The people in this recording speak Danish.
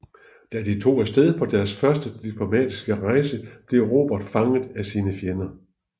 Da de tog afsted på deres første diplomatiske rejse blev Robert fanget af sine fjender